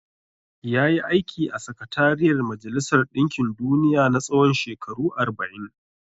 Ya yi aiki a Sakatariyar Majalisar ɗinkin duniya na tsawon shekaru arba'in.